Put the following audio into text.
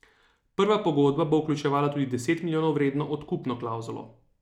Nova pogodba bo vključevala tudi deset milijonov vredno odkupno klavzulo.